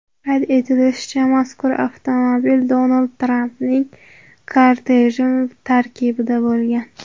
Qayd etilishicha, mazkur avtomobil Donald Trampning korteji tarkibida bo‘lgan.